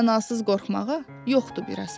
Mənasız qorxmağa yoxdu bir əsas.